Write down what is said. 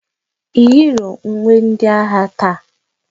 Iyiro uwe ndi agha taa?